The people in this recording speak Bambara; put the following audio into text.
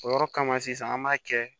O yɔrɔ kama sisan an b'a kɛ